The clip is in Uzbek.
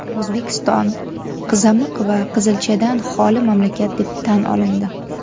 O‘zbekiston qizamiq va qizilchadan xoli mamlakat deb tan olindi .